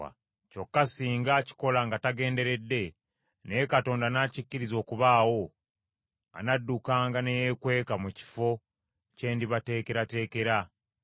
Kyokka singa akikola nga tagenderedde, naye Katonda n’akikkiriza okubaawo, anaddukanga ne yeekweka mu kifo kye ndibateekerateekera.